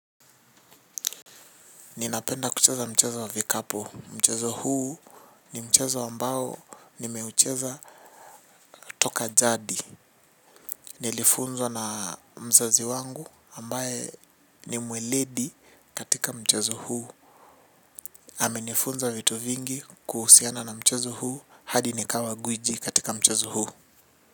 Ninapenda kucheza mchezo wa vikapu. Mchezo huu ni mchezo ambao nimeucheza toka jadi. Nilifunzwa na mzazi wangu ambaye ni mweledi katika mchezo huu. Ame nifunza vitu vingi kuhusiana na mchezo huu hadi nikawa gwiji katika mchezo huu.